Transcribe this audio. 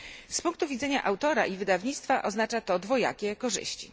Z punktu widzenia autora i wydawnictwa oznacza to dwojakie korzyści.